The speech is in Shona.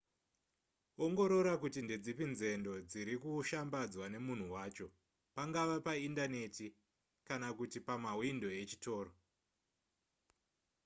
ongorora kuti ndedzipi nzendo dziri kushambadzwa nemunhu wacho pangava paindaneti kana kuti pamahwindo echitoro